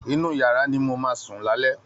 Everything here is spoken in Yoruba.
Inú yàrá ni mo máa sùn lálẹ́